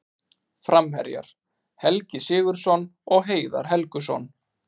Framherjar: Helgi Sigurðsson og Heiðar Helguson.